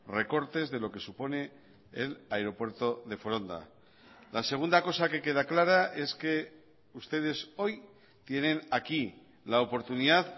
recortes de lo que supone el aeropuerto de foronda la segunda cosa que queda clara es que ustedes hoy tienen aquí la oportunidad